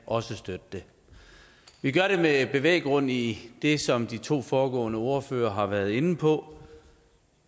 også kan støtte det vi gør det med bevæggrund i det som de to foregående ordførere har været inde på